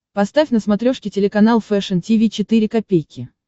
поставь на смотрешке телеканал фэшн ти ви четыре ка